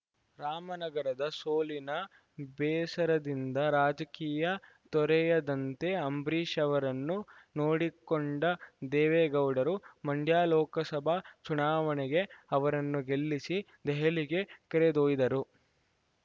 ರಾಮನಗರದ ಸೋಲಿನ ಬೇಸರದಿಂದ ರಾಜಕೀಯ ತೊರೆಯದಂತೆ ಅಂಬರೀಷ್‌ ಅವರನ್ನು ನೋಡಿಕೊಂಡ ದೇವೇಗೌಡರು ಮಂಡ್ಯ ಲೋಕಸಭಾ ಚುನಾವಣೆಗೆ ಅವರನ್ನು ಗೆಲ್ಲಿಸಿ ದೆಹಲಿಗೆ ಕರೆದೊಯ್ದರು